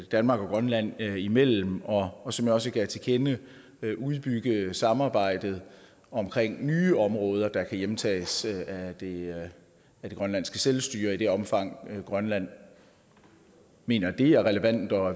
danmark og grønland imellem og og som jeg også gav til kende udbygge samarbejdet om nye områder der kan hjemtages af det grønlandske selvstyre i det omfang grønland mener det er relevant og